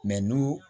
n'u